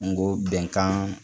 N go bɛnkan